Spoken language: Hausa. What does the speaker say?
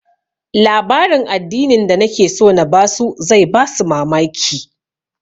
Labarin addinin da nake so na ba su zai ba su mamaki